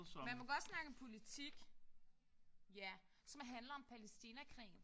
Man må godt snakke om politik. Ja som handler om Palæstinakrigen